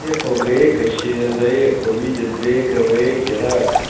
ехал грека через реку видит грека в реке рак с